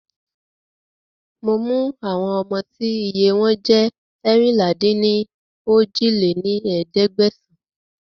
Mo mú àwọn ọmọ tí iye wọn jẹ́ eérinlá-dín-ní-ojì lé ní ẹ̀ẹ́dẹ́gbẹ́sán